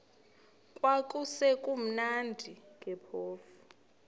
kwakusekumnandi ke phofu